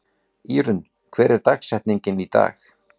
Írunn, hver er dagsetningin í dag?